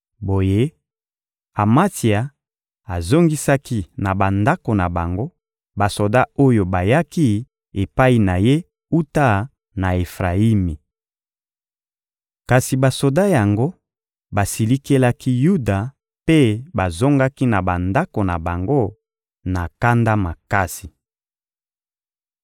Boye, Amatsia azongisaki na bandako na bango, basoda oyo bayaki epai na ye wuta na Efrayimi. Kasi basoda yango basilikelaki Yuda mpe bazongaki na bandako na bango na kanda makasi. (2Ba 14.7-14)